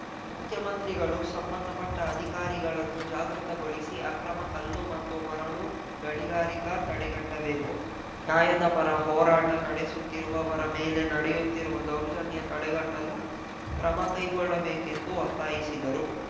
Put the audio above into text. ಮುಖ್ಯಮಂತ್ರಿಗಳು ಸಂಬಂಧಪಟ್ಟಅಧಿಕಾರಿಗಳನ್ನು ಜಾಗೃತಗೊಳಿಸಿ ಅಕ್ರಮ ಕಲ್ಲು ಮತ್ತು ಮರಳು ಗಣಿಗಾರಿಕಾ ತಡೆಗಟ್ಟಬೇಕು ನ್ಯಾಯದ ಪರ ಹೋರಾಟ ನಡೆಸುತ್ತಿರುವವರ ಮೇಲೆ ನಡೆಯುತ್ತಿರುವ ದೌರ್ಜನ್ಯ ತಡೆಗಟ್ಟಲು ಕ್ರಮಕೈಗೊಳ್ಳಬೇಕೆಂದು ಒತ್ತಾಯಿಸಿದರು